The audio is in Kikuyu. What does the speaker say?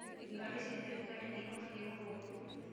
Ngari cia thirikari nĩ ihũthagĩrũo ũru.